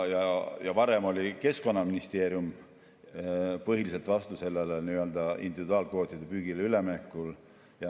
Varem oli Keskkonnaministeerium põhiliselt vastu sellele individuaalkvootidega püügile üleminekule.